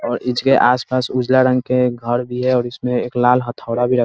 और इसके आसपास उजला रंग के घर भी है और इसमें एक लाल हथौड़ा भी र --